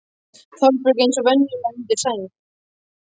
Þórbergur eins og venjulega undir sæng.